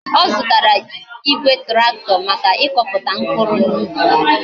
O zutara Igwe tractor Maka ikoputa mkpuru na ubi